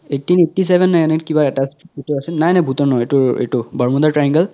eighteen eighty seven নে এনে কিবা এতা আছিল ভুতৰ নেকি নাই নাই ভুতৰ নহয় এইটো এইটো bermuda ৰ triangle